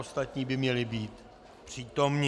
Ostatní by měli být přítomni.